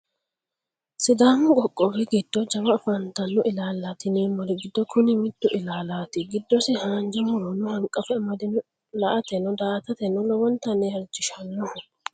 Sidaammu qoqqowwi giddo jawwa afanitino illalati yinnemori giddo Kunni mitto illalati giddosi haanija murrono haniqqafe amadinoho la'atenno daa'attateno lowwonittani halichishshanoho